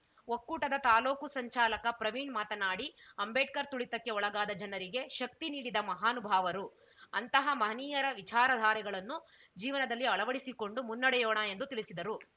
ಒಕ್ಕೂಟದ ತಾಲೂಕು ಸಂಚಾಲಕ ಪ್ರವೀಣ್‌ ಮಾತನಾಡಿ ಅಂಬೇಡ್ಕರ್‌ ತುಳಿತಕ್ಕೆ ಒಳಗಾದ ಜನರಿಗೆ ಶಕ್ತಿ ನೀಡಿದ ಮಹಾನುಭಾವರು ಅಂತಹ ಮಹನೀಯರ ವಿಚಾರ ಧಾರೆಗಳನ್ನು ಜೀವನದಲ್ಲಿ ಅಳವಡಿಸಿಕೊಂಡು ಮುನ್ನಡೆಯೋಣ ಎಂದು ತಿಳಿಸಿದರು